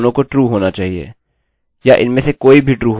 या इनमें से कोई भी true हो सकता है